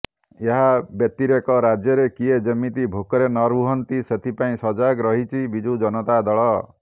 ଏହା ବ୍ୟତିରେକ ରାଜ୍ୟରେ କିଏ ଯେମିତି ଭୋକରେ ନରୁହନ୍ତି ସେଥିପାଇଁ ସଜାଗ ରହିଛି ବିଜୁ ଜନତା ଦଳ